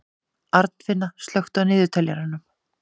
Arnfinna, slökktu á niðurteljaranum.